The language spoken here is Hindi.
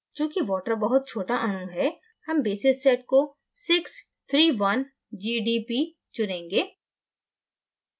चूँकि water बहुत छोटा अणु है हम basis set में 631g d p चुनेंगे